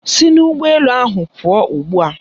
Si n'ụgbọ elu ahụ pụọ ugbua!